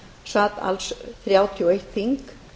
sat alls þrjátíu og eitt þing